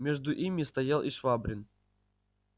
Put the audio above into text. между ими стоял и швабрин